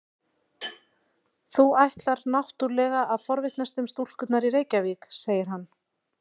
Þú ætlar náttúrlega að forvitnast um stúlkurnar í Reykjavík, segir hann.